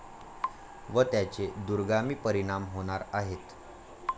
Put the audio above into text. व त्याचे दूरगामी परिणाम होणार आहेत.